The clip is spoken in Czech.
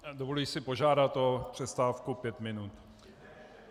Dovoluji si požádat o přestávku pět minut.